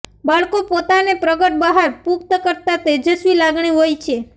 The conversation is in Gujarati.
બાળકો પોતાને પ્રગટ બહાર પુખ્ત કરતાં તેજસ્વી લાગણી હોય છે